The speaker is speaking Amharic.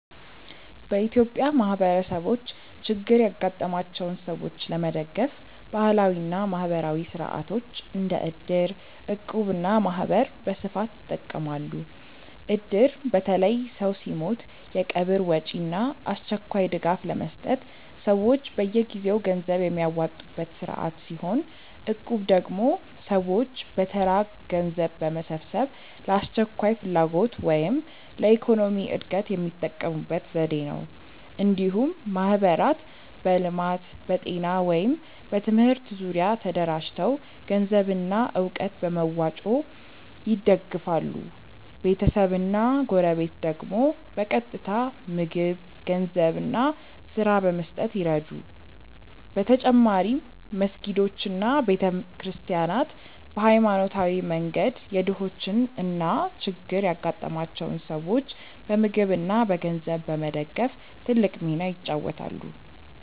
በኢትዮጵያ ማህበረሰቦች ችግር ያጋጠማቸውን ሰዎች ለመደገፍ ባህላዊ እና ማህበራዊ ሥርዓቶች እንደ እድር፣ እቁብ እና ማህበር በስፋት ይጠቀማሉ። እድር በተለይ ሰው ሲሞት የቀብር ወጪ እና አስቸኳይ ድጋፍ ለመስጠት ሰዎች በየጊዜው ገንዘብ የሚያዋጡበት ስርዓት ሲሆን፣ እቁብ ደግሞ ሰዎች በተራ ገንዘብ በመሰብሰብ ለአስቸኳይ ፍላጎት ወይም ለኢኮኖሚ እድገት የሚጠቀሙበት ዘዴ ነው። እንዲሁም ማህበራት በልማት፣ በጤና ወይም በትምህርት ዙሪያ ተደራጅተው ገንዘብና እውቀት በመዋጮ ይደግፋሉ፤ ቤተሰብና ጎረቤት ደግሞ በቀጥታ ምግብ፣ ገንዘብ እና ስራ በመስጠት ይረዱ። በተጨማሪም መስጊዶች እና ቤተ ክርስቲያናት በሃይማኖታዊ መንገድ የድሆችን እና ችግር ያጋጠማቸውን ሰዎች በምግብ እና በገንዘብ በመደገፍ ትልቅ ሚና ይጫወታሉ።